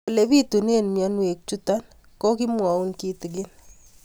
Ole pitune mionwek chutok ko kimwau kitig'ín